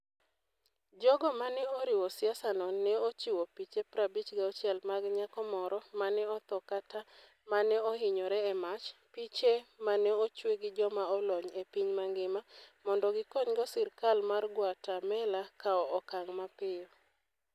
Jogo ma ne oriwo siasano ne ochiwo piche 56 mag nyako moro ma ne otho kata ma ne ohinyore e mach, piche ma ne ochwe gi joma olony e piny mangima, mondo gikonygo sirkal mar Guatemala kawo okang ' mapiyo.